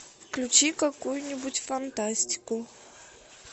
включи какую нибудь фантастику